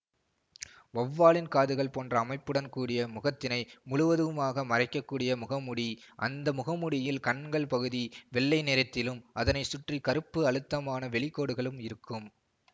வவ்வாலின் காதுகள் போன்ற அமைப்புடன் கூடிய முகத்தினை முழுவதுமாக மறைக்கக்கூடிய முகமூடி அந்த முகமூடியில் கண்கள் பகுதி வெள்ளை நிறத்திலும் அதனைச்சுற்றி கருப்பு அழுத்தமான வெளிகோடுகளும் இருக்கும்